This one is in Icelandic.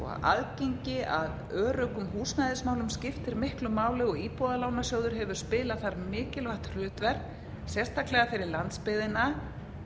aðgengi að öruggum húsnæðismálum skiptir miklu máli og íbúðalánasjóður hefur spilað þar mikilvægt hlutverk sérstaklega fyrir landsbyggðina